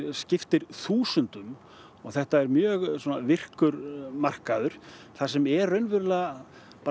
skiptir þúsundum og þetta er mjög virkur markaður þar sem eru raunverulega